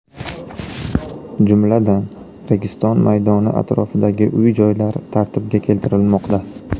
Jumladan, Registon maydoni atrofidagi uy-joylar tartibga keltirilmoqda.